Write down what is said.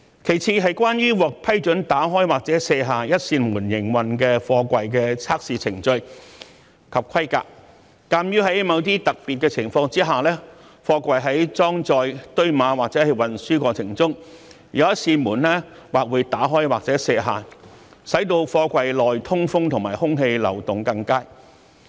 其次，是關於獲批准打開或卸下一扇門營運的貨櫃的測試程序及規格，鑒於在某些特別情況下，貨櫃在裝載、堆碼或運輸過程中，有一扇門會打開或卸下，使貨櫃內通風和空氣流動更佳。